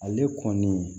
Ale kɔni